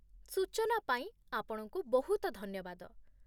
ସୂଚନା ପାଇଁ ଆପଣଙ୍କୁ ବହୁତ ଧନ୍ୟବାଦ।